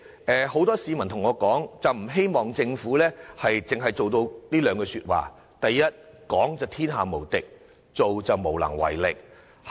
主席，很多市民對我說，不希望政府一如俗語所形容，"講就天下無敵，做就無能為力"。